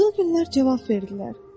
Qızıl güllər cavab verdilər.